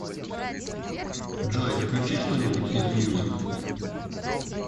джой включи что нибудь из мьюз